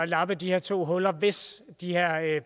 lappe de her to huller hvis